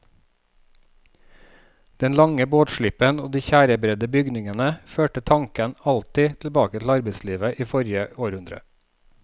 Den lange båtslippen og de tjærebredde bygningene førte tanken alltid tilbake til arbeidslivet i forrige århundre.